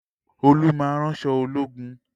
Olú máa ń ránṣọ ológun